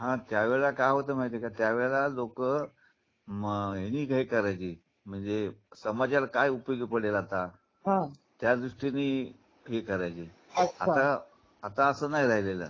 हा त्या वेळेला काय होत माहिते का त्यावेळेला लोक ह्यांनी करायची म्हणजे समाजाला काय उपयोगी पडेल आता हा त्यादृष्टीनी हे करायची आता असं नाही राहिलेल.